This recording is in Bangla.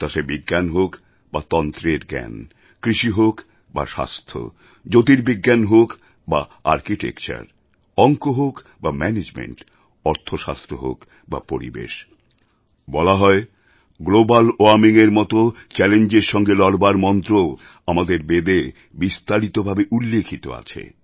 তা সে বিজ্ঞান হোক বা তন্ত্রের জ্ঞান কৃষি হোক বা স্বাস্থ্য জ্যোতির্বিজ্ঞান হোক বা আর্কিটেকচার অঙ্ক হোক বা ম্যানেজমেন্ট অর্থশাস্ত্র হোক বা পরিবেশ বলা হয় গ্লোবাল ওয়ার্মিংএর মত চ্যালেঞ্জের সঙ্গে লড়বার মন্ত্রও আমাদের বেদে বিস্তারিত ভাবে উল্লিখিত আছে